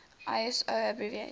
iso abbreviation